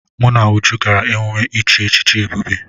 Mụ na Uju gara emume ichi echichi Ebube.